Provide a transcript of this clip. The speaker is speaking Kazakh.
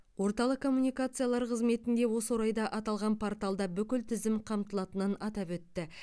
орталық комумникациялар қызметінде осы орайда аталған порталда бүкіл тізім қамтылатынын атап өтті